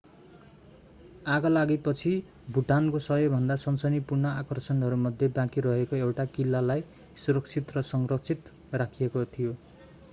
आगलागीपछि भुटानको सबैभन्दा सनसनीपूर्ण आकर्षणहरूमध्ये बाँकी रहेको एउटा किल्लालाई सुरक्षित र संरक्षित राखिएको थियो